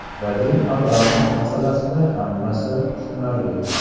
Vadim Abramov masalasida hammasi tushunarli.